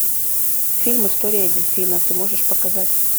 фильм история дельфина ты можешь показать